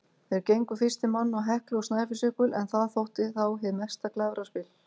Þeir gengu fyrstir manna á Heklu og Snæfellsjökul, en það þótti þá hið mesta glæfraspil.